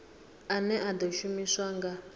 ane a ḓo shumiswa nga